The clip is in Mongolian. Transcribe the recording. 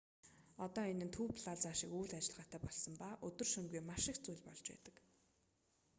одоо энэ нь төв плаза шиг үйл ажиллагаатай болсон ба өдөр шөнөгүй маш их зүйл болж байдаг